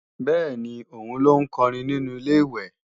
Bẹ́ẹ̀ni, òun ló ń kọrin nínu Ilé-ìwẹ̀